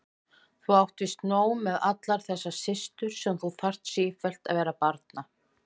Þú átt víst nóg með allar þessar systur sem þú þarf sífellt vera að barna.